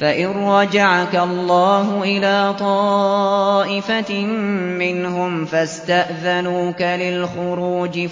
فَإِن رَّجَعَكَ اللَّهُ إِلَىٰ طَائِفَةٍ مِّنْهُمْ فَاسْتَأْذَنُوكَ لِلْخُرُوجِ